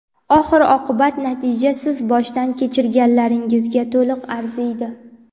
Oxiri oqibat natija siz boshdan kechirganlaringizga to‘liq arziydi.